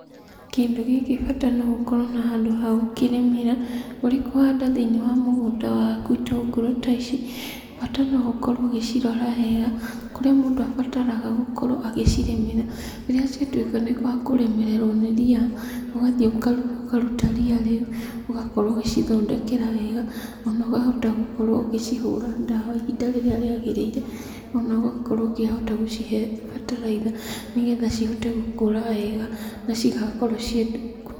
Kĩndũ gĩkĩ bata nĩ ũkorwo na handũ ha gũkĩrĩmĩra ũrĩ kũhanda thĩini wa mũgũnda waku itungũrũ ta ici, bata no ũkorwo ũgĩcirora wega. Kũrĩa mũndũ abataraga gũkorwo agĩcirĩmĩra rĩrĩa ciatuĩka ciakũremererwo nĩ ria ũgathiĩ ũkaruta ria rĩu, ũgakorwo ũgĩcithondekera wega. Ona wahota gũkorwo ũgĩcihũra ndawa ihinda rĩrĩa rĩagĩrĩire ona ũkahota gũkorwo ũgĩcihe bataraica nĩ getha cihote gũkũra wega na cigakorwo ciĩ ndungu.